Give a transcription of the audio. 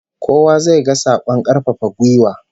Kowa zai ga sakon karfafa gwiwa